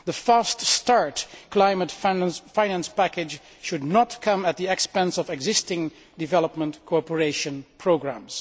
The fast start' climate finance package should not come at the expense of existing development cooperation programmes.